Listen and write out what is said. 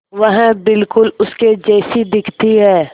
वह बिल्कुल उसके जैसी दिखती है